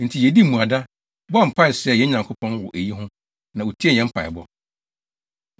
Enti yedii mmuada, bɔɔ mpae srɛɛ yɛn Nyankopɔn wɔ eyi ho, na otiee yɛn mpaebɔ.